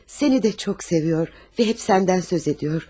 Səni də çox sevir və həmişə səndən söz edir.